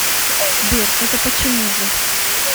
сбер это почему же